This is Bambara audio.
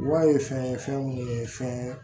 Wa ye fɛn ye fɛn minnu ye fɛn